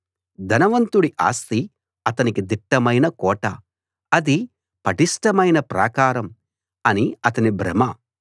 ధనవంతుడి ఆస్తి అతనికి దిట్టమైన కోట అది పటిష్టమైన ప్రాకారం అని అతని భ్రమ